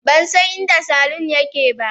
Ban san inda saloon yake ba.